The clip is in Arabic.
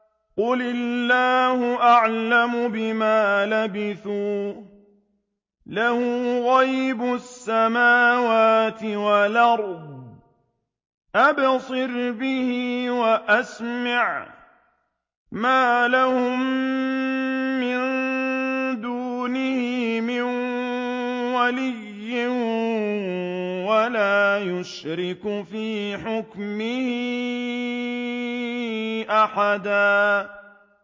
قُلِ اللَّهُ أَعْلَمُ بِمَا لَبِثُوا ۖ لَهُ غَيْبُ السَّمَاوَاتِ وَالْأَرْضِ ۖ أَبْصِرْ بِهِ وَأَسْمِعْ ۚ مَا لَهُم مِّن دُونِهِ مِن وَلِيٍّ وَلَا يُشْرِكُ فِي حُكْمِهِ أَحَدًا